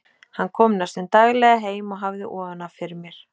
Hann kom næstum daglega heim og hafði ofan af fyrir mér.